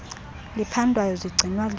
liphandwayo zigcinwa leli